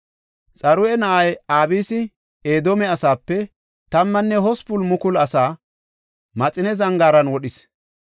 Xaruya na7ay Abisi Edoome asaape 18,000 asaa, Maxine Zangaaran wodhis.